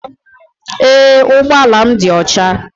Ee ụgbọ ala m dị ọcha